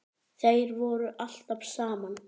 Þeir voru alltaf saman.